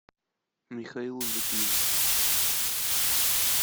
михаил литвин